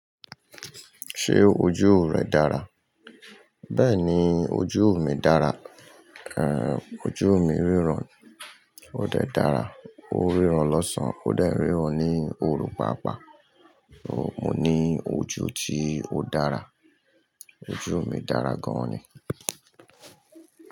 Ṣé ojú rẹ dára? Bẹ́ẹ̀ni, ojú mi dára, ojú mi ríran ó dè dára, ó ríran lọ́sàn ó dè ríran ní òru pàápàá. Mo ní ojú tí ó dára. Ojú mi dára gan ni.